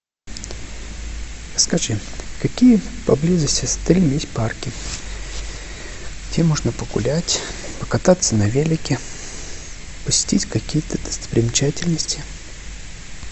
скажи какие поблизости с отелем есть парки где можно погулять покататься на велике посетить какие то достопримечательности